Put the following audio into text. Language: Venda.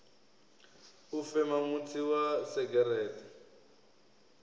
u fema mutsi wa segereṱe